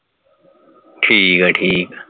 ਠੀਕ ਹੈ ਠੀਕ ਹੈ